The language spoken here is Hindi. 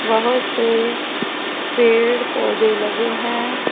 बहोत से पेड़ पौधे लगे है।